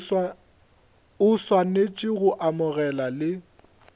o swanetše go amogela le